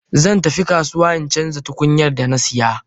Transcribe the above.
Zan tafi kasuwa in canza tukunyar da na saya.